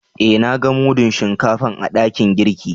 Eh, na gan mudun Shinkafan a dakin girki.